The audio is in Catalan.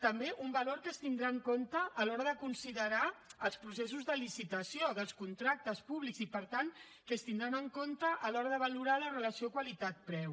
també un valor que es tindrà en compte a l’hora de considerar els processos de licitació dels contractes públics i per tant que es tindran en compte a l’hora de valorar la relació qualitat preu